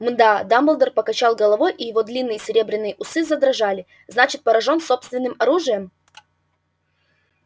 м-м-да дамблдор покачал головой и его длинные серебряные усы задрожали значит поражён собственным оружием